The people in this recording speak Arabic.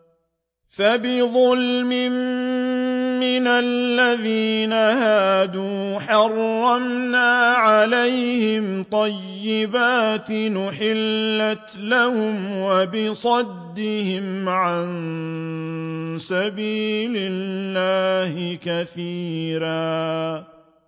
فَبِظُلْمٍ مِّنَ الَّذِينَ هَادُوا حَرَّمْنَا عَلَيْهِمْ طَيِّبَاتٍ أُحِلَّتْ لَهُمْ وَبِصَدِّهِمْ عَن سَبِيلِ اللَّهِ كَثِيرًا